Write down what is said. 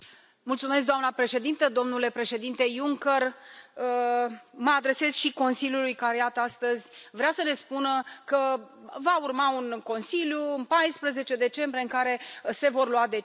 Doamnă președintă, domnule președinte Juncker, mă adresez și Consiliului, care, iată, astăzi vrea să ne spună că va urma un nou Consiliu în 14 decembrie în care se vor lua decizii.